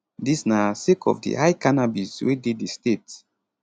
dis na sake of di high cannabis wey dey di state